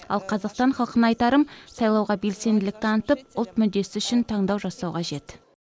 ал қазақстан халқына айтарым сайлауға белсенділік танытып ұлт мүддесі үшін таңдау жасау қажет